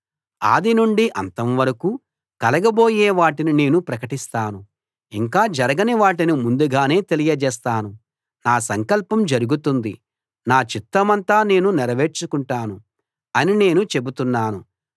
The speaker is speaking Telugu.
ఆది నుండి అంతం వరకు కలగబోయే వాటిని నేను ప్రకటిస్తాను ఇంకా జరగని వాటిని ముందుగానే తెలియజేస్తాను నా సంకల్పం జరుగుతుంది నా చిత్తమంతా నేను నెరవేర్చుకుంటాను అని నేను చెబుతున్నాను